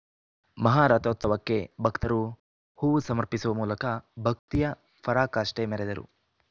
ಮಾಹಾರಥೋತ್ಸವಕ್ಕೆ ಭಕ್ತರು ಹೂವು ಸಮರ್ಪಿಸುವ ಮೂಲಕ ಭಕ್ತಿಯ ಪರಾಕಾಷ್ಠೆ ಮೆರೆದರು